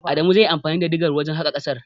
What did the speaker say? Adamu zai yi anfani da digar wajen haƙa ƙasar.